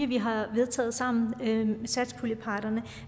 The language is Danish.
vi har vedtaget sammen blandt satspuljeparterne